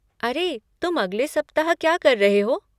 अरे, तुम अगले सप्ताह क्या कर रहे हो?